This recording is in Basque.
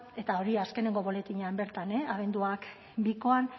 eta hori azkenengo boletinean bertan abenduak bikoan